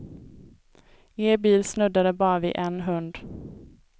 Er bil snuddade bara vid en hund.